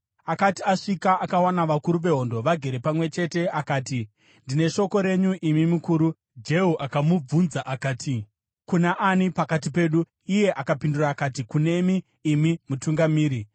Akati asvika, akawana vakuru vehondo vagere pamwe chete. Akati, “Ndine shoko renyu, imi mukuru.” Jehu akamubvunza akati, “Kuna ani pakati pedu?” Iye akapindura akati, “Kunemi imi, mutungamiri.”